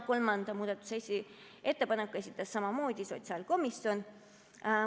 Kolmanda muudatusettepaneku esitas samamoodi sotsiaalkomisjon.